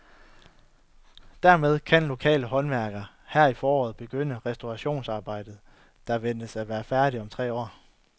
Dermed kan lokale håndværkere her i foråret begynde på restaureringsarbejdet, der ventes at være færdigt om tre år.